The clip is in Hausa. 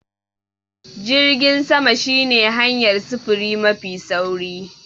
Jirgin sama shine hanyar sufuri mafi sauri.